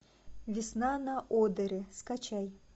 весна на одере скачай